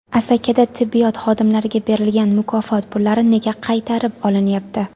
Asakada tibbiyot xodimlariga berilgan mukofot pullari nega qaytarib olinyapti?.